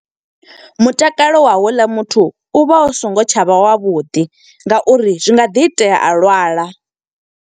Mutakalo wa houḽa muthu, u vha u songo tsha vha wavhuḓi, nga uri zwi nga ḓi itea a lwala.